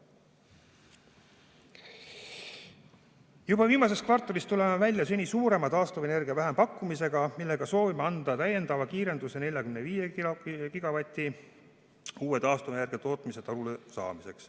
Juba viimases kvartalis tuleme välja seni suurima taastuvenergia vähempakkumisega, millega soovime anda täiendava kiirenduse 45 gigavati suuruse uue taastuvenergiatootmise turule saamiseks.